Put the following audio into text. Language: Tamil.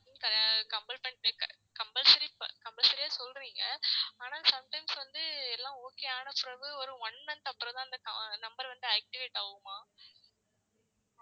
அப்டின்னு compel compulsory compulsory ஆ சொல்றீங்க ஆனா sometimes வந்து எல்லாம் okay ஆனா பிறகு ஒரு one month அப்புறம் தான் அந்த number வந்து activate ஆவுமா?